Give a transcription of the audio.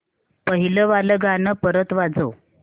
पहिलं वालं गाणं परत वाजव